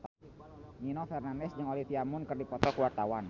Nino Fernandez jeung Olivia Munn keur dipoto ku wartawan